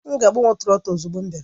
M ga-agbanwe trọtul ozugbo m bịara